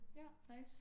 Ja nice